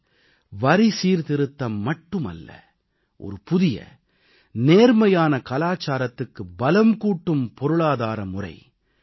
இது வரி சீர்திருத்தம் மட்டுமல்ல ஒரு புதிய நேர்மையான கலாச்சாரத்துக்கு பலம் கூட்டும் பொருளாதார முறை